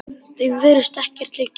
Þeim virðist ekkert liggja á.